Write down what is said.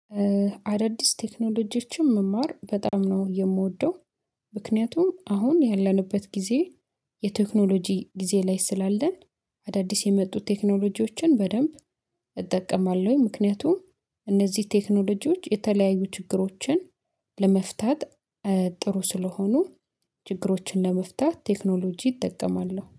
አዳዲስ ቴክኖሎጂዎችም መማር በጣም ነው የምወደው። ምክንያቱም አሁን ያለንበት ጊዜ የቴክኖሎጂ ጊዜ ላይ ስላለን አዳዲስ የመጡት ቴክኖሎጂዎችን በደንብ እጠቀማለሁኝ። ምክንያቱም እነዚህ ቴክኖሎጂዎች የተለያዩ ችግሮችን ለመፍታት ጥሩ ስለሆኑ ችግሮችን ለመፍታት ቴክኖሎጂ ይጠቀማሉ